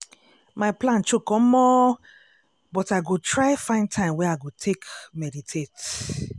my plan choke omo!!! but i go try find time wey i go take meditate.